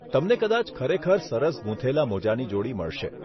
તમને કદાચ ખરેખર સરસ ગૂંથેલા મોજાની જોડી મળશે.